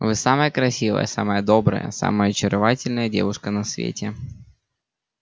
вы самая красивая самая добрая самая очаровательная девушка на свете